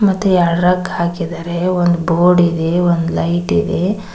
ಮತ್ತೆ ಎರಡು ರಗ್ ಹಾಕಿದ್ದಾರೆ ಒಂದ್ ಬೋರ್ಡ್ ಇದೆ ಒಂದ್ ಲೈಟ್ ಇದೆ.